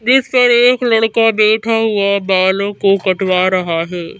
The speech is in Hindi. जिस पर एक लड़का बैठा हुआ बालों को कटवा रहा है।